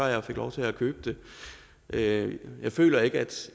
jeg fik lov til at købe det jeg føler ikke